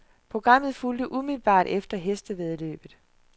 Programmet fulgte umiddelbart efter hestevæddeløbet.